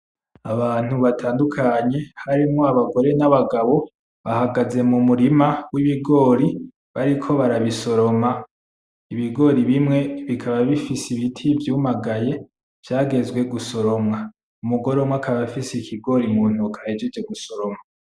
Abantu batandukanye harimwo abagore n'abagabo bahagaze mumurima wibigori bariko barabisoroma, ibigori bimwe bikaba bifise ibiti vyumagaye vyagezwe gusoromwa, umugore umwe akaba afise ikigori muntoke ahejeje gusoroma.